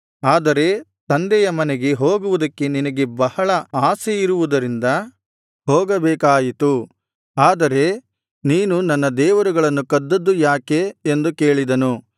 ಆದರೆ ತಂದೆಯ ಮನೆಗೆ ಹೋಗುವುದಕ್ಕೆ ನಿನಗೆ ಬಹಳ ಆಶೆಯಿರುವುದರಿಂದ ಹೋಗಬೇಕಾಯಿತು ಆದರೆ ನೀನು ನನ್ನ ದೇವರುಗಳನ್ನು ಕದ್ದದ್ದು ಯಾಕೆ ಎಂದು ಕೇಳಿದನು